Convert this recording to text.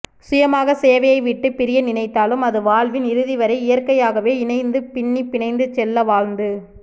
சுயமாக சேவையை விட்டுப் பிரிய நினைத்தாலும் அது வாழ்வின் இறுதி வரை இயற்கையாகவே இணைந்து பின்னிப் பிணைந்து செல்ல வாழ்ந்து